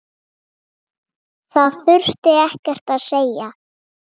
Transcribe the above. Það þurfti ekkert að segja.